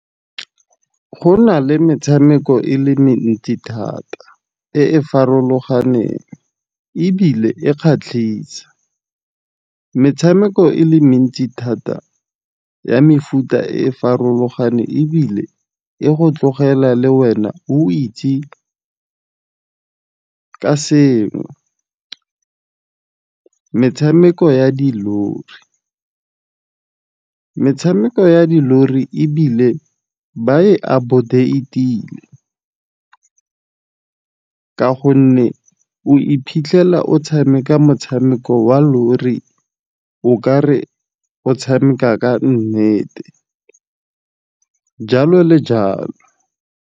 Go na le metshameko e le mentsi thata e e farologaneng, ebile e kgatlhisa. Metshameko e le mentsi thata ya mefuta e farologaneng ebile e go tlogela le wena o itse ka sengwe. Metshameko ya dilori ebile ba e aboard-a e tile. Ka gonne, o iphitlhela o tshameka motshameko wa lori o kare o tshameka ka nnete jalo le jalo.